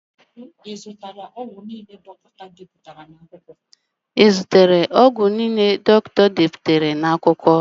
I zụtara ọgwụ niile dọkịta deputara n'akwụkwọ?